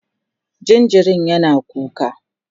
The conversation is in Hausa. jinjirin yana kuka